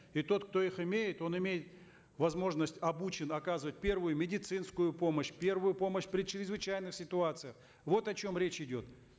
и тот кто их имеет он имеет возможность обучен оказывать первую медицинскую помощь первую помощь при чрезвычайных ситуациях вот о чем речь идет